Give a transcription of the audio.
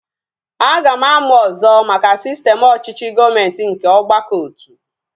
Aga m amụ ọzọ maka sistem ọchịchị gọọmenti nke ọgbakọotu